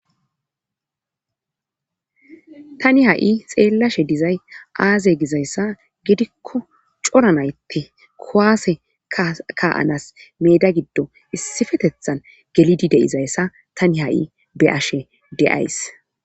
tani ha7i xeellashe dizay aaze gizayssa gidikko coranaytte kowaase ka7anas meda giddo issifetethan gelidi deizayssa tani ha7i be ashe deays